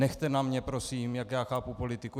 Nechte na mě prosím, jak já chápu politiku.